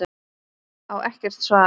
Á ekkert svar.